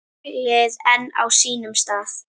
Tunglið enn á sínum stað.